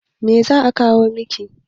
Me za a kawo muku?